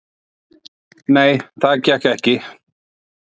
"""Nei, það gekk ekki."""